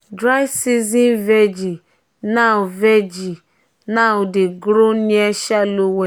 dry season vegi now vegi now dey grow near shallow well.